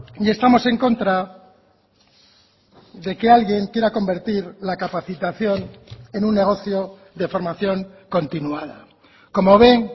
y estamos en contra de que alguien quiera convertir la capacitación en un negocio de formación continuada como ven